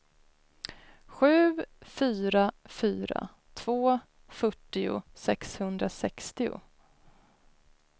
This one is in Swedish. sju fyra fyra två fyrtio sexhundrasextio